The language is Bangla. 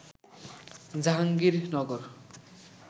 জাহাঙ্গীরনগর